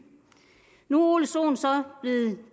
nu ole sohn så blevet